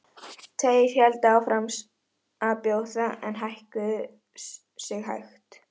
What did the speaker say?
Tveir héldu samt áfram að bjóða en hækkuðu sig hægt.